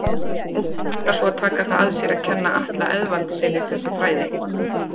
Og hver ætlar svo að taka það að sér að kenna Atla Eðvaldssyni þessi fræði?